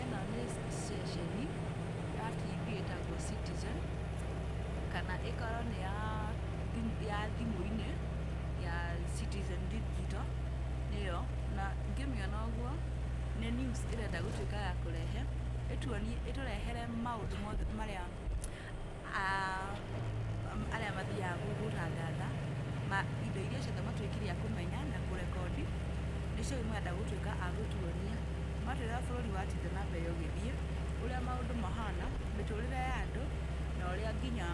Ĩno nĩ ceceni ya tv ĩtagwo Citizen, kana ĩkorwo nĩ ya thimũ-inĩ ya Citizen Digital, nĩyo na ngĩmĩona ũguo, nĩ news ĩrenda gũtuĩka ya kũrehe, ĩtũrehere maũndũ mothe marĩa arĩa mathiaga gũtangatha, ma indo iria ciothe matuĩkire a kũmenya na kũrekondi, nĩcio rĩu marenda gũtuĩka a gũtuonia, matũĩre ũrĩa bũrũri watinda na mbere ũgĩthiĩ, ũrĩa maũndũ mahana, mĩtũrĩre ya andũ na ũrĩa nginya